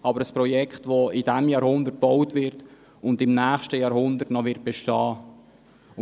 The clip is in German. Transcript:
aber ein Projekt, welches in diesem Jahrhundert gebaut und im nächsten Jahrhundert noch bestehen wird.